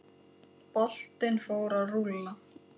Boltinn fór að rúlla.